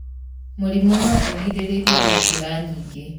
Mũrimũ no ũgirĩrĩrio na njĩra nyingĩ.